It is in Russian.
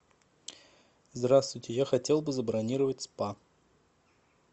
здравствуйте я хотел бы забронировать спа